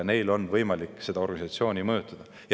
Neil on võimalik seda organisatsiooni mõjutada.